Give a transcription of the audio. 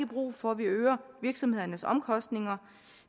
brug for at vi øger virksomhedernes omkostninger